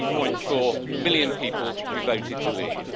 17.4 million people who voted to leave.